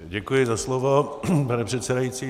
Děkuji za slovo, pane předsedající.